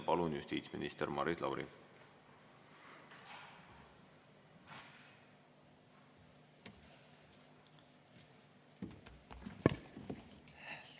Palun, justiitsminister Maris Lauri!